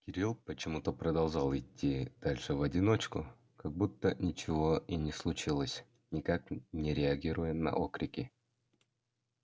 кирилл почему-то продолжал идти дальше в одиночку как будто ничего и не случилось никак не реагируя на окрики